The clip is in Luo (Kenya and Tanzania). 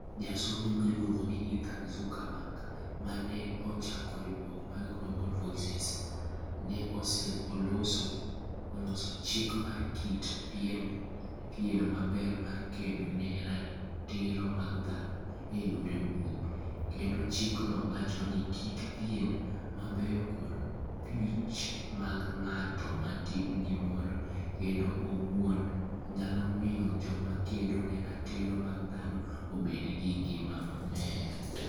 Jasomo miluongo ni Ethan Zuckerman (ma ne ochako riwruok mar Global Voices) ne oloso "chik mar kit pien maber mar kedo ne ratiro mag dhano e yor mbui", kendo chikno wacho ni kit pien mabeyo kod piche mag ng'at matimo gimoro kende owuon, nyalo miyo joma kedo ne ratiro mag dhano obed gi ngima maber.